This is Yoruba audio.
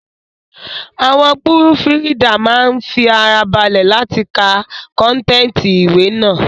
Àwọn púrùfùridà máa ń fi ara balẹ̀ láti ka kọ́ntẹ̀tì ìwé náà